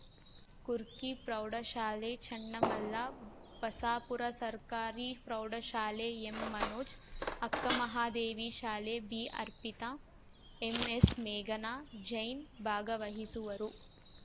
ಕುರ್ಕಿ ಪ್ರೌಢಶಾಲೆ ಚನ್ನಮಲ್ಲ ಬಸಾಪುರ ಸರ್ಕಾರಿ ಪ್ರೌಢಶಾಲೆ ಎಂಮನೋಜ್‌ ಅಕ್ಕ ಮಹಾದೇವಿ ಶಾಲೆ ಬಿಅರ್ಪಿತಾ ಎಂಎಸ್‌ಮೇಘನಾ ಜೈನ್‌ ಭಾಗವಹಿಸುವರು